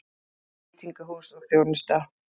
VEITINGAHÚS OG ÞJÓNUSTA